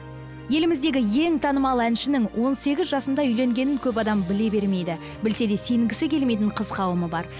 еліміздегі ең танымал әншінің он сегіз жасында үйленгенін көп адам біле бермейді білсе де сенгісі келмейтін қыз қауымы бар